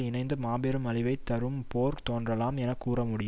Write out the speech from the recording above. இணைந்து மாபெரும் அழிவை தரும் போர் தோன்றலாம் என கூற முடியும்